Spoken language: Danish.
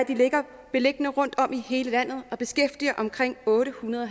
beliggende rundtom i hele landet og beskæftiger omkring ottehundrede og